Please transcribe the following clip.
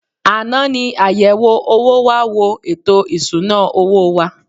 Àná ni àyẹ̀wò owó wá wo ètò ìsuna owó wa.